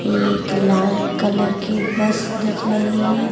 एक लाल कलर की बस दिख रही है।